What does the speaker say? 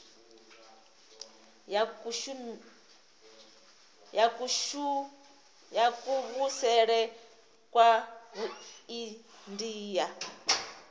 ya kuvhusele kwavhui ndi ya